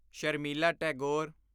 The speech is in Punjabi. ਸ਼ਰਮੀਲਾ ਟੈਗੋਰ